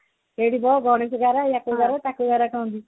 ସେଇଠି ବ